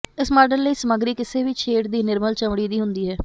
ਇਸ ਮਾਡਲ ਲਈ ਸਾਮੱਗਰੀ ਕਿਸੇ ਵੀ ਸ਼ੇਡ ਦੀ ਨਿਰਮਲ ਚਮੜੀ ਦੀ ਹੁੰਦੀ ਹੈ